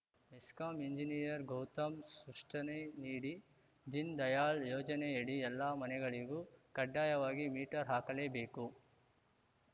MESCOM engineer Gautam ಸೃಷ್ಟನೆ ನೀಡಿ ದೀನ್‌ ದಯಾಳ್‌ ಯೋಜನೆಯಡಿ ಎಲ್ಲ ಮನೆಗಳಿಗೂ ಕಡ್ಡಾಯವಾಗಿ ಮೀಟರ್‌ ಹಾಕಲೇಬೇಕು